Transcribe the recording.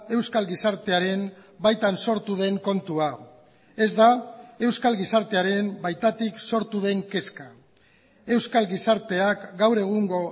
euskal gizartearen baitan sortu den kontua ez da euskal gizartearen baitatik sortu den kezka euskal gizarteak gaur egungo